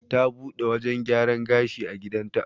Ta buɗe wajan gyaran gashi a gidan ta